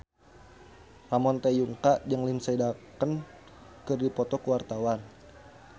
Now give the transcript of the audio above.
Ramon T. Yungka jeung Lindsay Ducan keur dipoto ku wartawan